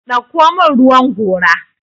dauko min ruwan gora!